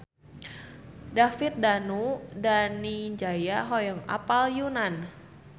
David Danu Danangjaya hoyong apal Yunan